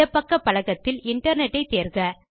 இடப் பக்க பலகத்தில் இன்டர்நெட் ஐ தேர்க